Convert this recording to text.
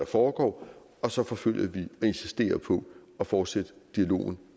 foregår og så forfølger vi og insisterer på at fortsætte dialogen